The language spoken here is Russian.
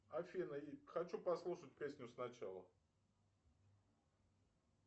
афина хочу послушать песню сначала